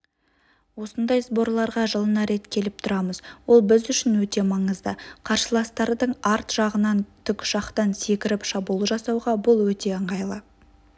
осындай сборларға жылына рет келіп тұрамыз ол біз үшін өте маңызды қарсыластардың арт жағынан тікұшақтан секіріп шабуыл жасауға бұл өте ыңғайлы